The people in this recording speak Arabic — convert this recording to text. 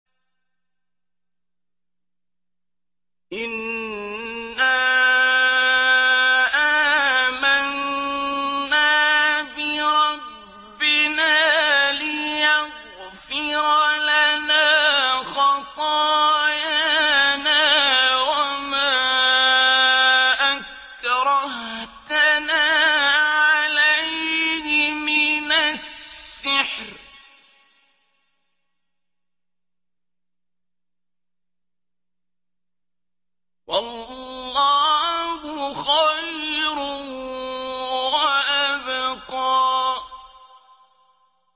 إِنَّا آمَنَّا بِرَبِّنَا لِيَغْفِرَ لَنَا خَطَايَانَا وَمَا أَكْرَهْتَنَا عَلَيْهِ مِنَ السِّحْرِ ۗ وَاللَّهُ خَيْرٌ وَأَبْقَىٰ